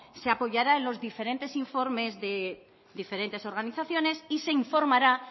se apoyará en los diferentes informes de diferentes organizaciones y se informará